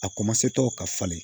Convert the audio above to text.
A tɔw ka falen